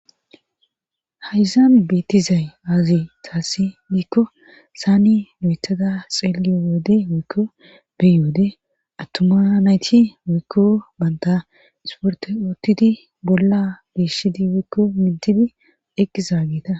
Hayzaame beettizay aazi taassi diikko saani noyetada xeeliyo woode woykko beywode attuma nayti woykko banta isporto ootidi bolla biishidi woikko mintidi eqqizaa geeta.